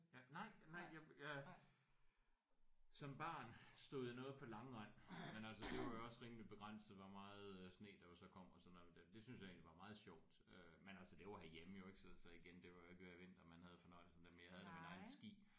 Ja nej nej jeg jeg som barn stod jeg noget på langrend men altså det var jo også rimelig begrænset hvor meget øh sne der jo så kom og sådan noget der men det synes jeg var meget sjovt øh men altså det var herhjemme jo ik så så igen det var jo ikke hver vinter man havde fornøjelsen men jeg havde da mine egne ski